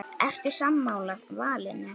Ertu sammála valinu?